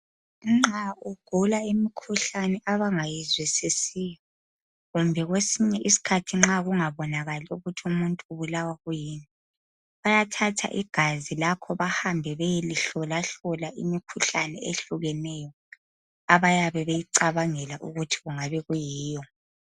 Nxa ugula imikhuhlane abangayizwisisiyo kumbe kwesinye isikhathi nxa kungabonakali ukuthi umuntu ubulawa kuyini ,bayathatha igazi lakho bahambe bayelihlolahlola imikhuhlane ehlukeneyo abayabe beyicabangela ukuthi kungabe kuyiyo.